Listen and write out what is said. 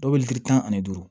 Dɔw bɛ litiri tan ani duuru